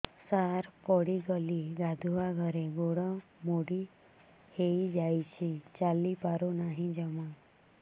ସାର ପଡ଼ିଗଲି ଗାଧୁଆଘରେ ଗୋଡ ମୋଡି ହେଇଯାଇଛି ଚାଲିପାରୁ ନାହିଁ ଜମା